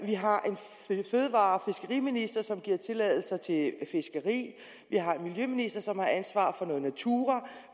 vi har en minister som giver tilladelser til fiskeri vi har en miljøminister som har ansvaret for noget natura